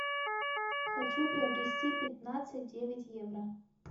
хочу приобрести пятнадцать девять евро